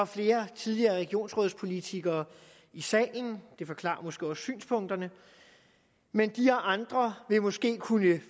flere tidligere regionsrådspolitikere i salen det forklarer måske også synspunkterne men de og andre vil måske kunne